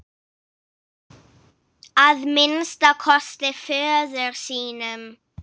Að minnsta kosti föður sínum.